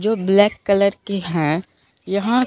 जो black colour की हैं यहां--